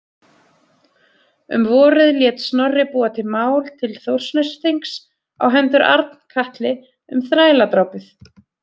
Um vorið lét Snorri búa mál til Þórsnessþings á hendur Arnkatli um þræladrápið.